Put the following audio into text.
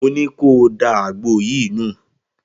Mo ní kó o da àgbo yìí nù